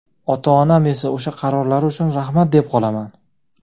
ota-onam esa o‘sha qarorlari uchun rahmat deb qolaman!.